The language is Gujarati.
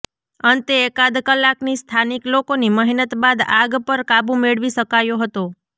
અંતે એકાદ કલાકની સ્થાનિક લોકોની મહેનત બાદ આગ પર કાબુ મેળવી શકાયો હતો